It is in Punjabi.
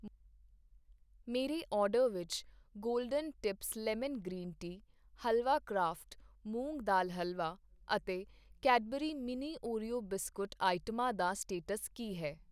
ਮੇਰੇ ਆਰਡਰ ਵਿੱਚ Golden Tips lemon green tea, halwa craft moong dal halwa ਅਤੇ ਕੈਡਬਰੀ ਮਿੰਨੀ ਓਰੀਓ ਬਿਸਕੁਟ ਆਈਟਮਾਂ ਦਾ ਸਟੇਟਸ ਕੀ ਹੈ